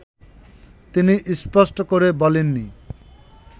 তিনি স্পষ্ট করে বলেন নি